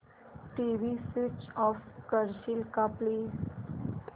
TV switch off करशील का please